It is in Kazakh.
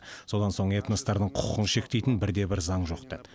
содан соң этностардың құқығын шектейтін бірде бір заң жоқ деді